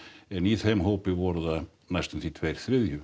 en í þeim hópi voru það næstum því tveir þriðju